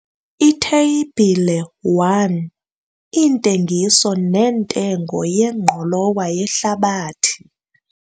Itheyibhile 1- Iintengiso nentengo yengqolowa yehlabathi.